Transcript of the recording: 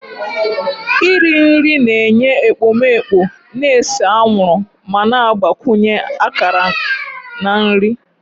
Iri nri na-enye ekpomeekpo na-ese anwụrụ ma na-agbakwunye akara na nri